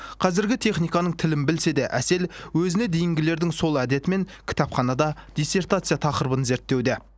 қазіргі техниканың тілін білсе де әсел өзіне дейінгілердің сол әдетімен кітапханада диссертация тақырыбын зерттеуде